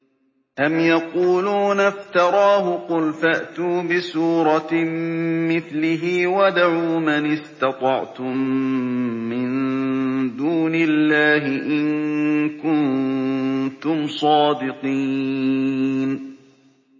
أَمْ يَقُولُونَ افْتَرَاهُ ۖ قُلْ فَأْتُوا بِسُورَةٍ مِّثْلِهِ وَادْعُوا مَنِ اسْتَطَعْتُم مِّن دُونِ اللَّهِ إِن كُنتُمْ صَادِقِينَ